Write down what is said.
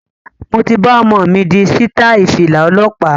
Mo ti bá omo mi di sitai Fìlà ọlọ́pa